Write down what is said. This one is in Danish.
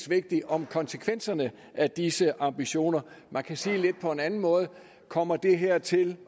vigtigt om konsekvenserne af disse ambitioner man kan sige det lidt på en anden måde kommer det her til